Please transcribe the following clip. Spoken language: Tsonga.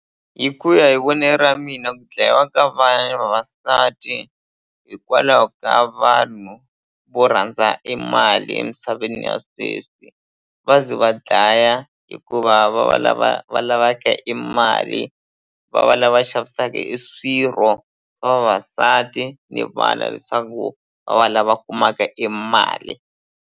Hi ku ya hi vonelo ra mina ku dlayiwa ka vana ni vavasati hikwalaho ka vanhu vo rhandza e mali emisaveni ya sweswi va ze va dlaya hikuva va va lava va lavaka e mali va va lava xavisaka e swirho swa vavasati ni vana leswaku va va lava kumaka e mali.